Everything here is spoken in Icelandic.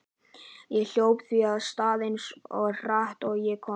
Ég hljóp því af stað eins hratt og ég komst.